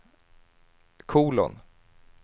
kolon